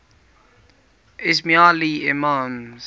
ismaili imams